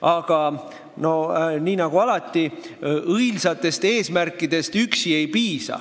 Aga nii nagu alati, õilsatest eesmärkidest üksi ei piisa.